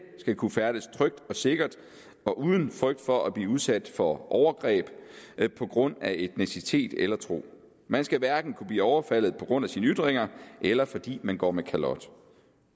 skal kunne færdes trygt og sikkert og uden frygt for at blive udsat for overgreb på grund af etnicitet eller tro man skal hverken kunne blive overfaldet på grund af sine ytringer eller fordi man går med kalot